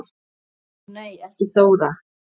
Ó nei ekki Þóra